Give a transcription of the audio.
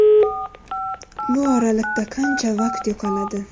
Bu oraliqda qancha vaqt yo‘qoladi.